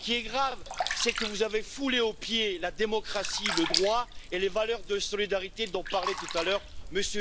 ce qui est grave, c'est que vous avez foulé aux pieds la démocratie, le droit et les valeurs de solidarité dont parlait tout à l'heure M.